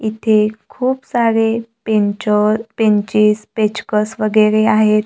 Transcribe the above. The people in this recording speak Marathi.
इथे खूप सारे पेंचर पेंचेस पेंचकस वगैरे आहेत.